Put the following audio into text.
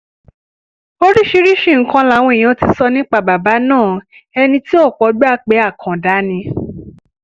oríṣiríṣiì nǹkan làwọn èèyàn ti sọ nípa bàbá náà ẹni tí ọ̀pọ̀ gbà pé àkàndá ni